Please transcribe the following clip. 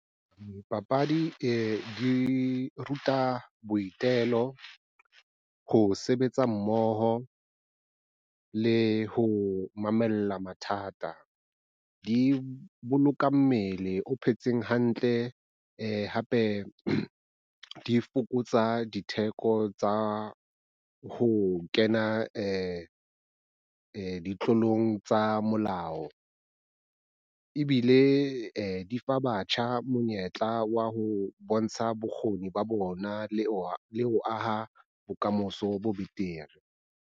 Dipapadi di ruta boitelo, ho sebetsa mmoho le ho mamella mathata. Di boloka mmele o phetseng hantle hape di fokotsa ditheko tsa ho kena ditlolong tsa molao ebile di fa batjha monyetla wa ho bontsha bokgoni ba bona le ho aha bokamoso bo betere.